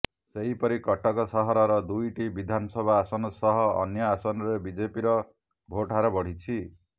ସେହିପରି କଟକ ସହରର ଦୁଇଟି ବିଧାନ ସଭା ଆସନ ସହ ଅନ୍ୟ ଆସନରେ ବିଜେପିର ଭୋଟ ହାର ବଢିଛି